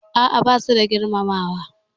A'a, basu da girmamawa.